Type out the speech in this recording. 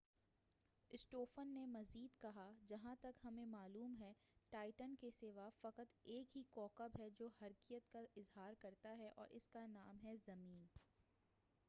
اسٹوفن نے مزید کہا جہا ں تک ہمیں معلوم ہے ٹائٹن کے سوا فقط ایک ہی کوکب ہے جو حرکیّت کا اظہار کرتا ہے اور اس کا نام ہے زمین